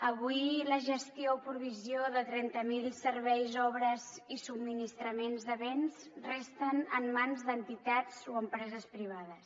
avui la gestió o provisió de trenta mil serveis obres i subministraments de béns resten en mans d’entitats o empreses privades